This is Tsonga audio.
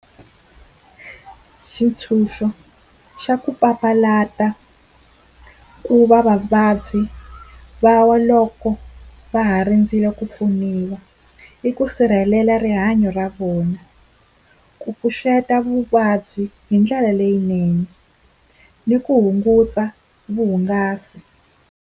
Xitshunxo xa ku papalata ku va vavabyi va wa loko va ha rindzile ku pfuniwa, i ku sirhelela rihanyo ra vona, ku pfuxeta vuvabyi hi ndlela leyinene ni ku hunguta vuhungasi.